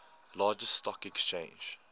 largest stock exchange